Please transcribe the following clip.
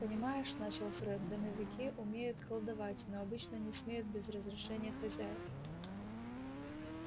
понимаешь начал фред домовики умеют колдовать но обычно не смеют без разрешения хозяев